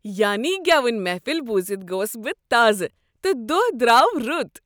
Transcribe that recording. یانی گیون محفل بوزتھ گوس بہٕ تازٕہ تہٕ دۄہ درٛاو رُت۔